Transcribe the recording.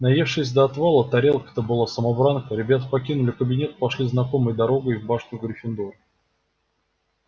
наевшись до отвала тарелка-то была самобранка ребята покинули кабинет и пошли знакомой дорогой в башню гриффиндора